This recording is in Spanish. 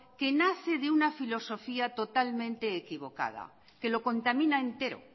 que nace de una filosofía totalmente equivocada que lo contamina entero